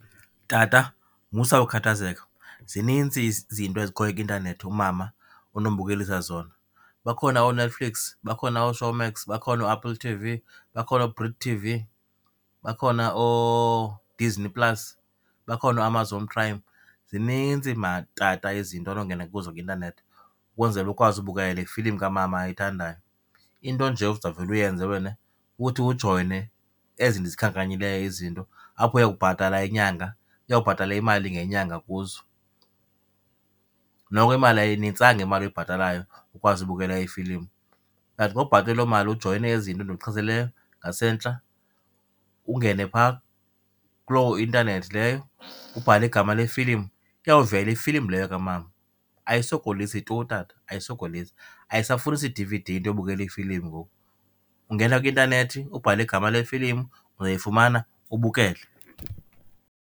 Tata, musa ukhathazeka, zinintsi izinto ezikhoyo kwi-intanethi umama onombukelisa zona. Bakhona ooNetflix, bakhona ooShowmax, bakhona ooApple T_V, bakhona ooBrick T_V bakhona ooDisney Plus, bakhona ooAmazon Prime, zininzi mani tata izinto onongena kuzo kwi-intanethi ukwenzele ukwazi ubukele le filimu kamama ayithandayo. Into nje ozawuvele uyenze wena kukuthi ujoyine ezi ndizikhankanyileyo izinto, apho uya kubhatala inyanga, uyawubhatala imali ngenyanga kuzo. Noko imali, ayinintsanga imali oyibhatalayo ukwazi ubukela iifilimu. But xa ubhatele loo mali ujoyine ezi zinto ndikuchazeleyo ngasentla ungene phaa kuloo intanethi leyo, ubhale igama lefilimu, iyawuvela ifilimu leyo kamama. Ayisokolisi tu tata, ayisokolisi. Ayisafunisi D_V_D into yobukela ifilimu ngoku, ungena kwi-intanethi, ubhale igama lefilimu, uzoyifumana ubukele.